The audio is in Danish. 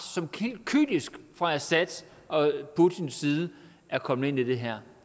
som helt kynisk fra assad og putins side er kommet ind i det her